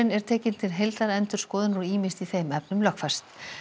er tekinn til heildarendurskoðunar og ýmist í þeim efnum lögfest